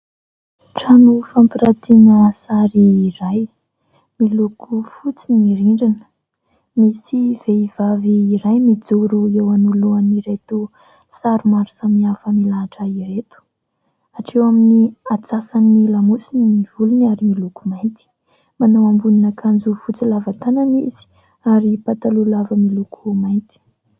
Trano fampirantiana sary iray, miloko fotsy ny rindrina. Misy vehivavy iray mijoro eo anoloan'ireto sary maro samihafa milahatra ireto. Hatreo amin'ny antsasan'ny lamosiny ny volony, ary miloko mainty. Manao ambonin'akanjo fotsy lava tanana izy, ary patalola lava miloko mainty.